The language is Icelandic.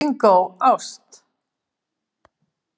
Bingó: ást.